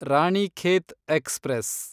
Ranikhet express